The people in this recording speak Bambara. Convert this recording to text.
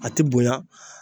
A ti bonya.